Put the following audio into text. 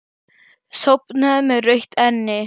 Sofnaði með rautt enni.